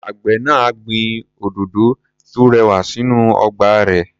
Àgbẹ̀ náà á gbin òdòdó tó rẹwà sínú ọgbà rẹ̀.